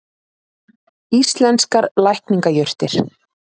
Íslenskar lækningajurtir.